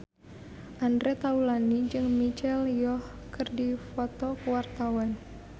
Andre Taulany jeung Michelle Yeoh keur dipoto ku wartawan